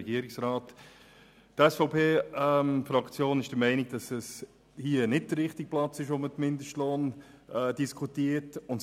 Die SVP-Fraktion ist der Meinung, dass dies hier nicht der richtige Ort ist, um den Mindestlohn zu diskutieren.